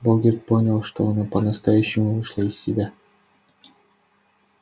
богерт понял что она по-настоящему вышла из себя